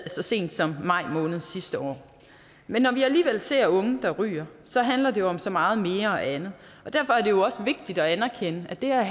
så sent som i maj måned sidste år men når vi alligevel ser unge der ryger så handler det jo om så meget mere og andet og derfor er det jo også vigtigt at anerkende at det her